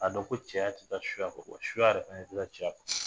A dɔn ko cɛya tɛ taa suya kɔ wa suya yɛrɛ tɛ taa cɛya kɔ